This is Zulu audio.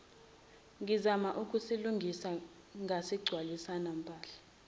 ngizama ukusilungisa ngasigcwalisanempahla